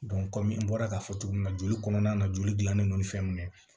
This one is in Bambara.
kɔmi n bɔra k'a fɔ cogo min na joli kɔnɔna na joli gilannen don fɛn min ye